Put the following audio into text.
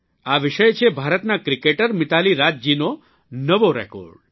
આ વિષય છે ભારતનાં ક્રિકેટર મીતાલી રાજજીનો નવો રેકોર્ડ